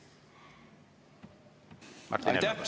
Aitäh!